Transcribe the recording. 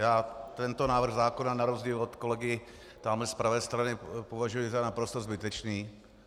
Já tento návrh zákona na rozdíl od kolegy tamhle z pravé strany považuji za naprosto zbytečný.